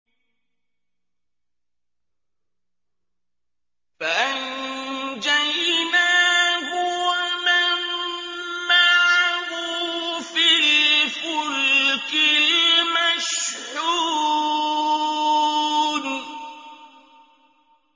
فَأَنجَيْنَاهُ وَمَن مَّعَهُ فِي الْفُلْكِ الْمَشْحُونِ